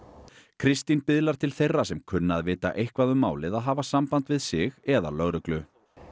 Kristín biðlar til þeirra sem kunna að vita eitthvað um málið að hafa samband við sig eða lögreglu